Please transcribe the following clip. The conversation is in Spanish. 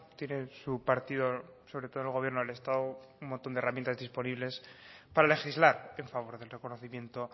tiene su partido sobre todo el gobierno del estado un montón de herramientas disponibles para legislar en favor del reconocimiento